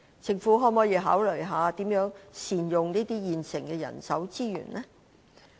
政府可否考慮如何善用現有的人力資源呢？